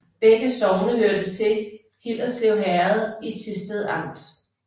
Begge sogne hørte til Hillerslev Herred i Thisted Amt